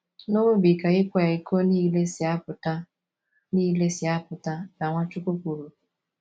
N’obi ka ịkwa iko nile si apụta nile si apụta, ka Nwachukwu kwuru.